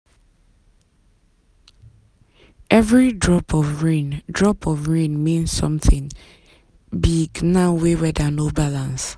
every drop of rain drop of rain mean something big now wey weather no balance.